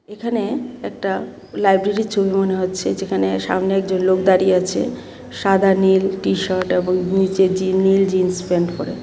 এখানে একটা লাইব্রেরির ছবি মনে হচ্ছে যেখানে সামনে একজন লোক দাঁড়িয়ে আছে সাদা নীল টি শার্ট এবং নীচে জি-নীল জিন্স প্যান্ট পরা.